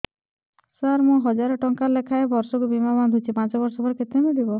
ସାର ମୁଁ ହଜାରେ ଟଂକା ଲେଖାଏଁ ବର୍ଷକୁ ବୀମା ବାଂଧୁଛି ପାଞ୍ଚ ବର୍ଷ ପରେ କେତେ ମିଳିବ